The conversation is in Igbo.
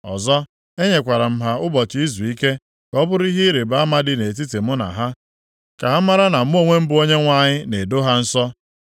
Ọzọ, e nyekwara m ha ụbọchị izuike, ka ọ bụrụ ihe ịrịbama dị nʼetiti mụ na ha, ka ha maara na mụ onwe m bụ Onyenwe anyị, na-edo ha nsọ.